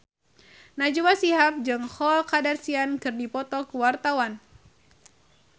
Najwa Shihab jeung Khloe Kardashian keur dipoto ku wartawan